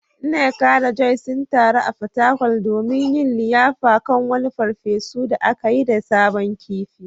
Nneka da Joy sun taru a Fatakwal domin yin liyafa kan wani farfesu da aka yi da sabon kifi.